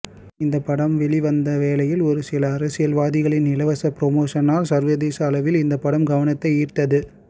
இந்த படம் வெளிவந்த வேலையில் ஒரு சில அரசியல்வாதிகளின் இலவச ப்ரோமோஷனால் சர்வதேச அளவில் இந்த படம் கவனத்தை ஈர்த்தது